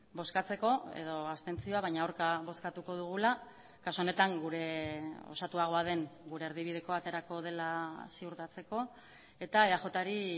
bozkatzeko edo abstentzioa baina aurka bozkatuko dugula kasu honetan gure osatuagoa den gure erdibidekoa aterako dela ziurtatzeko eta eajri